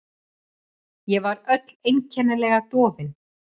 Ég var öll einkennilega dofin.